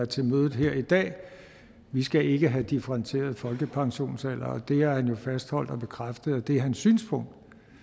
til mødet her i dag vi skal ikke have differentieret folkepensionsalder og det har han jo fastholdt og bekræftet er hans synspunkt